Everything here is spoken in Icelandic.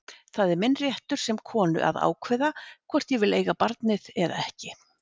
Það er minn réttur sem konu að ákveða hvort ég vil eiga barnið eða ekki.